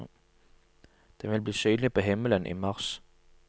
Den vil bli synlig på himmelen i mars.